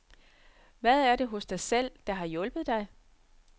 Hvad er det hos dig selv, der har hjulpet dig?